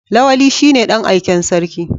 Lawali shine dan aiken sarki.